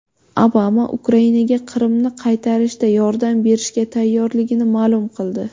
Obama Ukrainaga Qrimni qaytarishda yordam berishga tayyorligini ma’lum qildi.